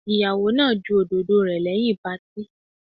Ìyàwó náà ju òdòdó rẹ̀ lẹ́yìn patí.